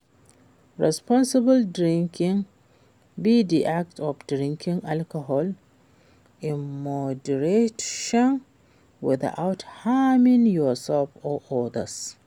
responsible drinking be di act of drinking alcohol in moderation without harming yourself or odas.